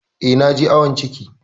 Eh, na je awon ciki.